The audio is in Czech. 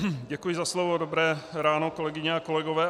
Děkuji za slovo, dobré ráno, kolegyně a kolegové.